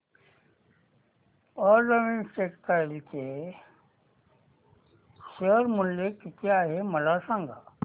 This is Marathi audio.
अरविंद टेक्स्टाइल चे शेअर मूल्य किती आहे मला सांगा